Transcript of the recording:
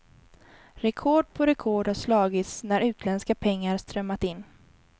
Rekord på rekord har slagits när utländska pengar strömmat in.